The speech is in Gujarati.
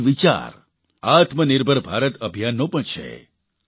આ જ વિચાર આત્મનિર્ભર ભારત અભિયાનનો પણ છે